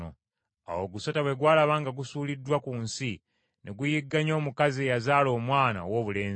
Awo ogusota bwe gwalaba nga gusuuliddwa ku nsi ne guyigganya omukazi eyazaala omwana owoobulenzi.